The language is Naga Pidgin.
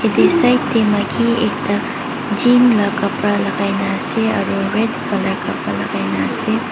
yati side teh maiki ekta jean la kabra lagaina ase aro red colour kabra lagaina ase.